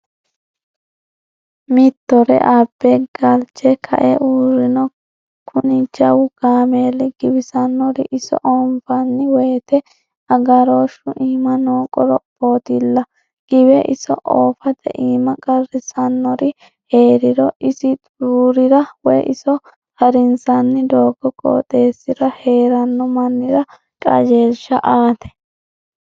Mittore abbe galche kae uurrino kuni jawu kaameeli, giwisanori iso oonfanni woyte agaroshu iima no qorophotilla giwe iso oofate iima qarrisanori heeriro isi xururira woyi iso harinsanni doogo qooxeessira heerano mannira qajeelsha aate.